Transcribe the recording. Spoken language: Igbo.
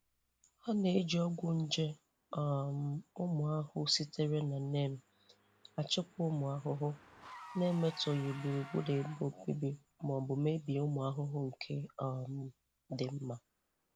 Ha na-eji ọgwụ nje um ụmụ ahụhụ sitere na neem achịkwa ụmụ ahụhụ, na-emetọghị gburugburu ebe obibi ma ọ bụ mebie ụmụ ahụhụ nke um dị mma.